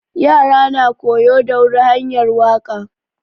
Ƴara na koyo da wuri hanƴar waka.